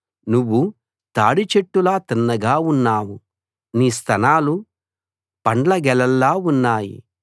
నువ్వు తాడి చెట్టులా తిన్నగా ఉన్నావు నీ స్తనాలు పండ్ల గెలల్లా ఉన్నాయి